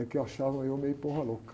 É que achavam eu meio louca.